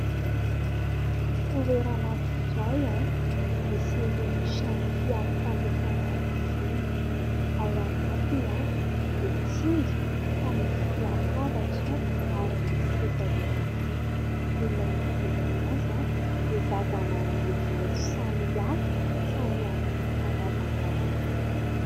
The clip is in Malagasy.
Toerana anankiray misy irony trano fialokalofana irony : ao anatiny dia tsinjo fa misy latabatra ary misy seza ihany koa. Ny manodidina azy dia zavamaniry maitso samihafa samy amin'ny karazany avy.